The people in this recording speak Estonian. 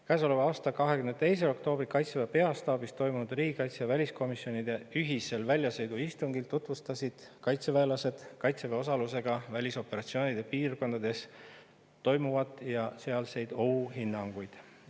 Käesoleva aasta 22. oktoobril Kaitseväe peastaabis toimunud riigikaitsekomisjoni ja väliskomisjoni ühisel väljasõiduistungil tutvustasid kaitseväelased kaitseväe osalusega välisoperatsioonide piirkondades toimuvat ja sealseid ohuhinnanguid.